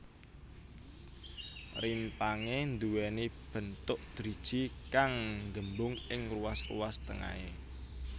Rimpangé nduwèni bentuk driji kang nggembung ing ruas ruas tengahé